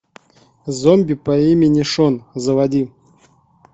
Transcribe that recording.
зомби по имени шон заводи